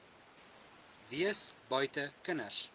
wees buite kinders